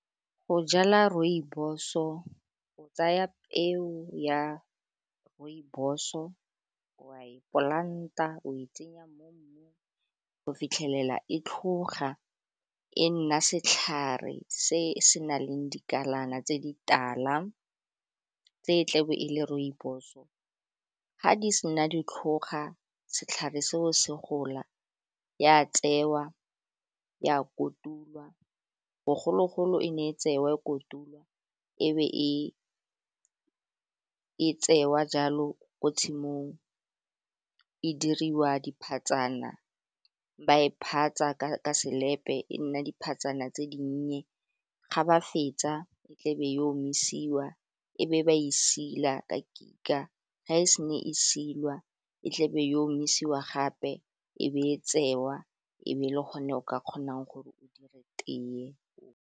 Go jala rooibos-o o tsaya peo ya rooibos-o wa e polanta o e tsenya mo mmung o fitlhelela e tlhoga e nna setlhare se se na leng dikalana tse di tala tse tlebe e le rooibos-o, ga di sena di tlhoga, setlhare seo se gola ya tseiwa ya kotulwa bogologolo e ne e tsewa e kotulwa ebe e tsewa jalo ko tshimong, e diriwa diphatsana ba e phatsa ka selepe, e nna dipatsana tse dinnye, ga ba fetsa e tlebe yo omisiwa e be ba isila ka kika, ga e se na e silwa e tlebe yo omisiwa gape e be e tsewa e be e le gone o ka kgonang gore o dire teye.